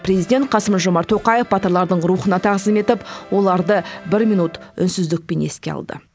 президент қасым жомарт тоқаев батырлардың рухына тағзым етіп оларды бір минут үнсіздікпен еске алды